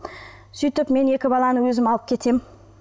сөйтіп мен екі баланы өзім алып кетемін